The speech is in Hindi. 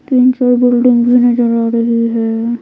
तीन चार बिल्डिंग भी नजर आ रही है।